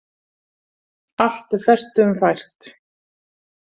Allt er fertugum fært